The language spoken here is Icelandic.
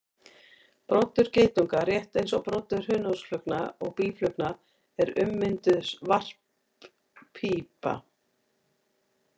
Broddur geitunga, rétt eins og broddur hunangsflugna og býflugna, er ummynduð varppípa.